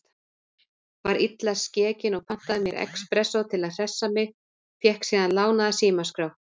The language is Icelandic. Var illa skekin og pantaði mér expressó til að hressa mig, fékk síðan lánaða símaskrá.